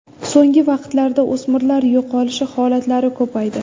So‘nggi vaqtlarda o‘smirlar yo‘qolishi holatlari ko‘paydi.